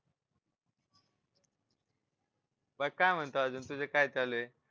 बाकी काय म्हणतो अजून तुझं काय चालू आहे.